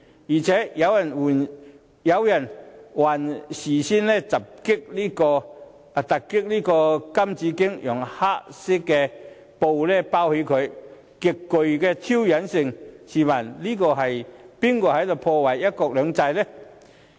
而且，有人更事先突襲金紫荊廣場，以黑布蓋着金紫荊銅像，極具挑釁意味，試問是誰在破壞"一國兩制"？